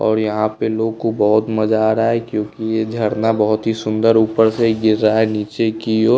और यहाँ पे लोग को बहुत मज़ा आ रहा हैं क्योंकि ये झरना बहुत ही सुंदर ऊपर से गिर रहा है नीचे की ओर।